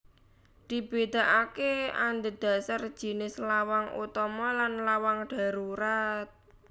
Dibédakaké andhedhasar jinis lawang utama lan lawang dharurat